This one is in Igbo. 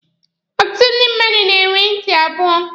Ọtụtụ ndị mmadụ na-enwe ntị abụọ.